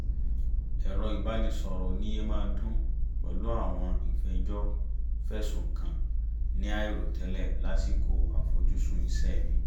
ẹ̀rọ ìbánisọ̀rọ̀ ò ní yé máa dún pẹ̀lú àwọn ìfẹjọ́-fẹ̀sùn-kan-ni àìrò tẹ́lẹ̀ lásìkò àfojúsùn iṣẹ́ mi